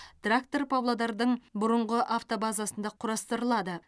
трактор павлодардың бұрынғы автобазасында құрастырылады